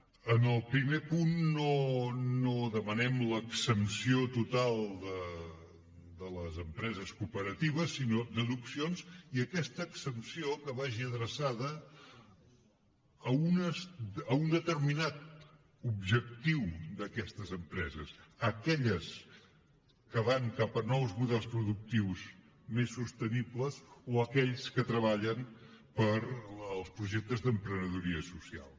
en el primer punt no demanem l’exempció total de les empreses cooperatives sinó deduccions i que aquesta exempció que vagi adreçada a un determinat objectiu d’aquestes empreses aquelles que van cap a nous models productius més sostenibles o aquells que treballen pels projectes d’emprenedoria social